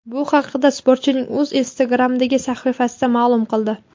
Bu haqda sportchining o‘zi Instagram’dagi sahifasida ma’lum qildi .